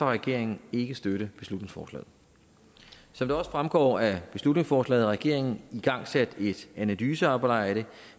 regeringen ikke støtte beslutningsforslaget som det også fremgår af beslutningsforslaget har regeringen igangsat et analysearbejde